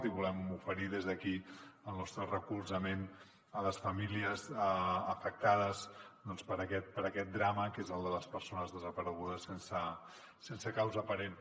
i volem oferir des d’aquí el nostre recolzament a les famílies afectades per aquest drama que és el de les persones desaparegudes sense causa aparent